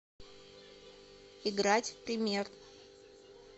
играть в пример